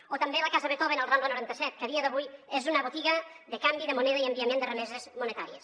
o també la casa beethoven a la rambla noranta set que a dia d’avui és una botiga de canvi de moneda i enviament de remeses monetàries